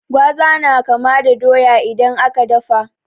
Gwaza na kama da doya idan aka dafa.